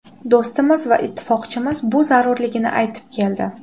Do‘stimiz va ittifoqchimiz bu zarurligini aytib keldi.